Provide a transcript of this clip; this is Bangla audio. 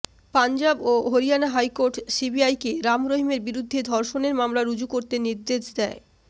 পাঞ্জাব ও হরিয়ানা হাইকোর্ট সিবিআইকে রাম রহিমের বিরুদ্ধে ধর্ষণের মামলা রুজু করতে নির্দেশ দেয়